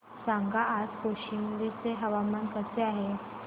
सांगा आज कौशंबी चे हवामान कसे आहे